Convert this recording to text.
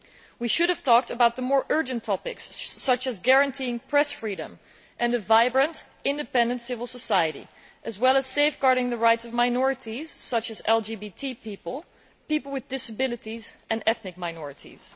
We should have talked about the more urgent topics, such as guaranteeing press freedom and a vibrant, independent civil society, as well as safeguarding the rights of minorities such as LGBT people, people with disabilities and ethnic minorities.